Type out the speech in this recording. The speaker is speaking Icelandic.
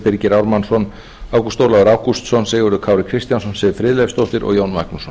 birgir ármannsson ágúst ólafur ágústsson sigurður kári kristjánsson siv friðleifsdóttir og jón magnússon